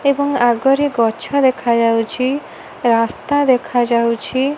ଏବଂ ଆଗରେ ଗଛ ଦେଖାଯାଉଛି ରାସ୍ତା ଦେଖାଯାଉଛି।